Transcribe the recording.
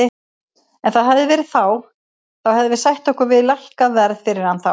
Ef það hefði verið þá hefðum við sætt okkur við lækkað verð fyrir hann þá.